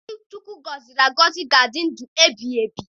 Ndị Chineke gọziri agọzi ga-adị ndụ ebighịebi.